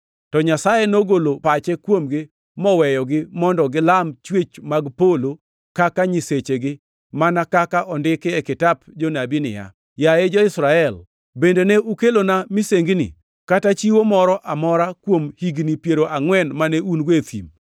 To Nyasaye nogolo pache kuomgi moweyogi mondo gilam chwech mag polo kaka nyisechegi, mana kaka ondiki e kitap jonabi niya, “ ‘Yaye jo-Israel, bende ne ukelona misengini kata chiwo moro amora kuom higni piero angʼwen mane un e thim?